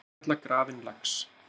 Innkalla grafinn lax